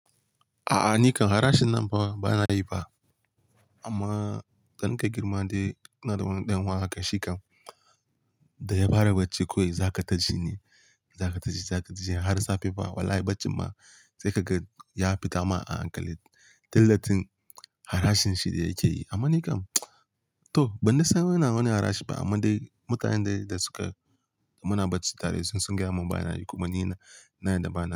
A'a, ni kan harashin nan fa bana yi fa. Amma dana ke girma dai ina da wani ɗan'uwa haka shikan da ya fara bacci kawai za ka taji ne, za ka taji, za kaji har safe ba. Wallahi baccin ma sai ka ga ya fita ma a ankali. Tillatin harashin shi yake yi, amma ni kan to ban dai san yana wani harashi ba. Amma dai mutanen dai da suka, muna bacci tare sun gaya mun bana yi kuma ni na, na yarda bana yi.